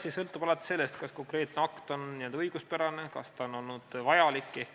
See sõltub alati sellest, kas konkreetne akt on õiguspärane, kas ta on vajalik.